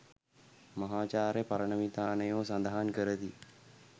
මහාචාර්ය පරණවිතානයෝ සඳහන් කරති.